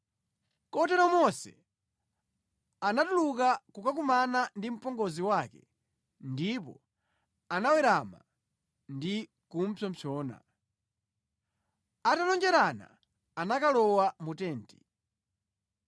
Kotero Mose anatuluka kukakumana ndi mpongozi wake ndipo anawerama ndi kupsompsona. Atalonjerana anakalowa mu tenti